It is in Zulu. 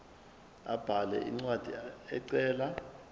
abhale incwadi ecela